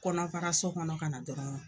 Kɔnɔbagaso kɔnɔ kana dɔrɔn